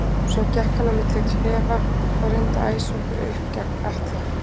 Svo gekk hann á milli klefa og reyndi að æsa okkur upp gegn Atla.